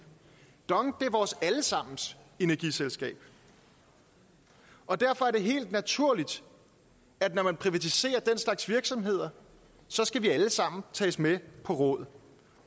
dong er vores alle sammens energiselskab og derfor er det helt naturligt at når man privatiserer den slags virksomheder skal vi alle sammen tages med på råd